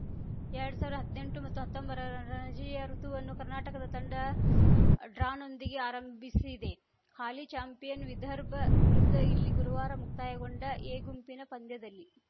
ಎರ್ಡ್ ಸಾವಿರ್ದಾ ಹದ್ನೆಂಟುಹತ್ತೊಂಬರರ ರಣಜಿಯ ಋುತುವನ್ನು ಕರ್ನಾಟಕ ತಂಡ ಡ್ರಾನೊಂದಿಗೆ ಆರಂಭಿಸಿದೆ ಹಾಲಿ ಚಾಂಪಿಯನ್‌ ವಿದರ್ಭ ವಿರುದ್ಧ ಇಲ್ಲಿ ಗುರುವಾರ ಮುಕ್ತಾಯಗೊಂಡ ಎ ಗುಂಪಿನ ಪಂದ್ಯದಲ್ಲಿ